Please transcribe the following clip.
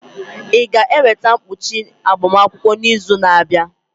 Ị ga-eweta mkpuchi agbamakwụkwọ n'izu na-abịa?